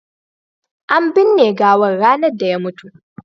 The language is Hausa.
an binne gawan ranar da ya mutu